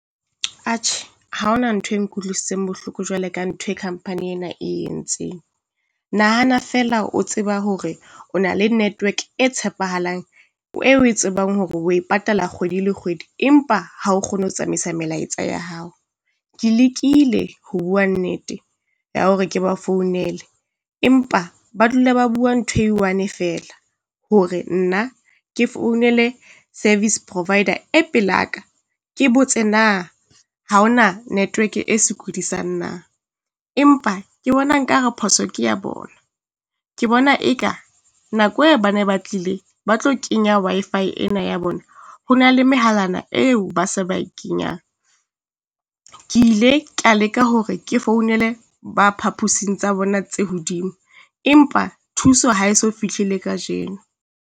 Atjhe, ha ho na ntho e nkutlwisitseng bohloko jwale ka ntho e company ena e entseng. Nahana feela o tseba hore o na le network e tshepahalang, e o e tsebang hore o e patala kgwedi le kgwedi, empa ha o kgone ho tsamaisa melaetsa ya hao. Ke lekile ho bua nnete ya hore ke ba founele, empa ba dula ba bua ntho e one feela, hore nna ke founele service provider e pela ka, ke botse na Ha ho na network e sokodisang na? Empa ke bona nkare phoso ke ya bona, ke bona e ka nako e ba ne ba tlile ba tlo kenya Wi-Fi ena ya bona, ho na le mehalana eo ba se ba e kenyang. Ke ile ka leka hore ke founele ba phapusing tsa bona tse hodimo, empa thuso ha e so fihle le kajeno.